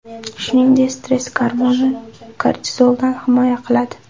Shuningdek, stress gormoni, kortizoldan himoya qiladi.